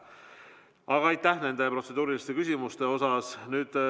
Aga aitäh nende protseduuriliste küsimuste eest!